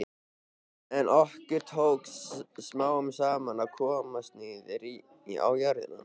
En okkur tókst smám saman að komast niður á jörðina.